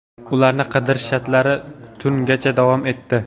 Ularni qidirish ishlari tungacha davom etdi.